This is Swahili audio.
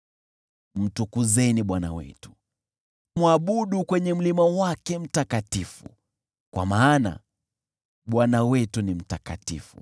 Mtukuzeni Bwana Mungu wetu, mwabuduni kwenye mlima wake mtakatifu, kwa maana Bwana Mungu wetu ni mtakatifu.